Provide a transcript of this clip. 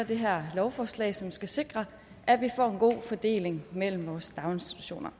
det her lovforslag som skal sikre at vi får en god fordeling mellem vores daginstitutioner